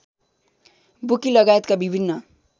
bookie लगायतका विभिन्न